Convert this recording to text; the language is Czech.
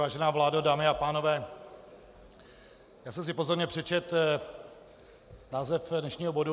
Vážená vládo, dámy a pánové, já jsem si pozorně přečetl název dnešního bodu.